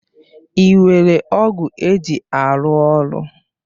Ị nwere ọ̀gu eji arụ ọrụ?